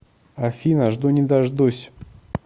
афина жду не дождусь